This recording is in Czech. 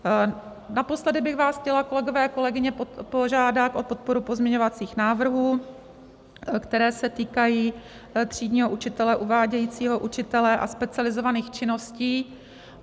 Naposledy bych vás chtěla, kolegové, kolegyně, požádat o podporu pozměňovacích návrhů, které se týkají třídního učitele, uvádějícího učitele a specializovaných činností.